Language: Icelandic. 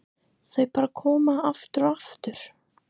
Þau bara koma, aftur og aftur.